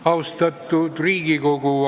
Austatud Riigikogu!